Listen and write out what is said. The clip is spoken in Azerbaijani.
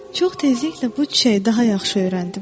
Çox tezliklə bu çiçəyi daha yaxşı öyrəndim.